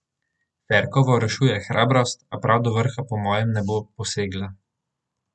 Ferkovo rešuje hrabrost, a prav do vrha po mojem ne bo posegla.